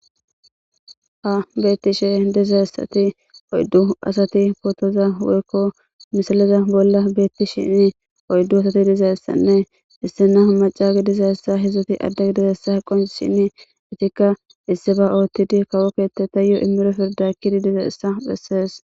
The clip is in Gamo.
ha beettishe dizessati oyddu asati pootoza weykko misiliza bolla beetti shinni oyddu asati dizayessanne isse na macagi dizayssa hidzdzoti addagi dizeyessa qon shini itikka issi ba oottidi kawokkette ta yo immiro pirdakkidi diza issa bessees.